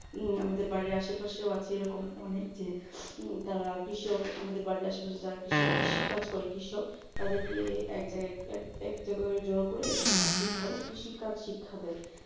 উম আমাদের বাড়ির আশেপাশেও আছে এরকম অনেক যে তারা কৃষি আমাদের বাড়ির আশেপাশে যারা কৃষক কৃষি কাজ করে কৃষক তাদেরকে এক জায়গায় এক এক জায়গায় জড়ো করে তাদেরকে শিক্ষা দেয় কৃষিকাজ শিক্ষা দেয়